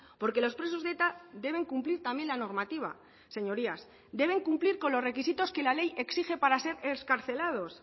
porque los presos de eta deben cumplir también la normativa señorías deben cumplir con los requisitos que la ley exige para ser excarcelados